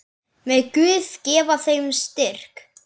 Megi Guð gefa þeim styrk.